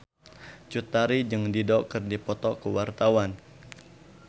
Cut Tari jeung Dido keur dipoto ku wartawan